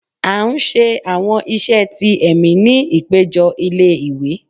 a n sé àwọn iṣẹ tí emí ní ipejo ilé ìwé